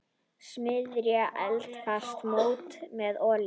Smyrjið eldfast mót með olíu.